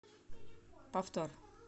повтор